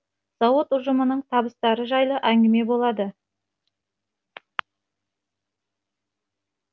зауыт ұжымының табыстары жайлы әңгіме болады